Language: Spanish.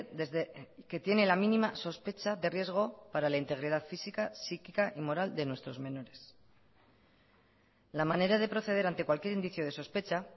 desde que tiene la mínima sospecha de riesgo para la integridad física psíquica y moral de nuestros menores la manera de proceder ante cualquier indicio de sospecha